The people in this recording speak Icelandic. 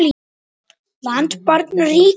land barn ríki